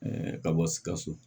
ka bɔ sikaso